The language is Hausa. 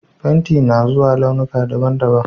Fenti na zuwa launuka daban-daban